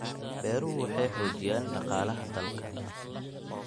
Beeruhu waxay xoojiyaan dhaqaalaha dalka.